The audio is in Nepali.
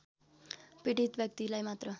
पीडित व्यक्तिलाई मात्र